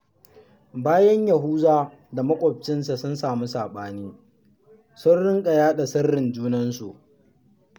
Bayan Yahuza da maƙocinsa sun samu saɓani, sun riƙa yaɗa sirrin junansu